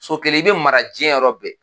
so kelen i bɛ mara jiyɛn yɔrɔ bɛɛ.